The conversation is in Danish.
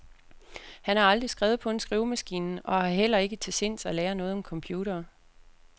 Han har aldrig skrevet på en skrivemaskine og har heller ikke til sinds at lære noget om computere.